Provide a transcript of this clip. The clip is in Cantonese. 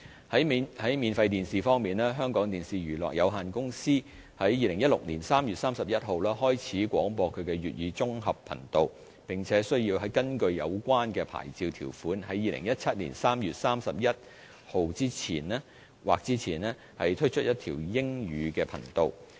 在免費電視方面，香港電視娛樂有限公司於2016年3月31日開始廣播其粵語綜合頻道，並須根據有關牌照條款，於2017年3月31日或之前推出一條英語頻道。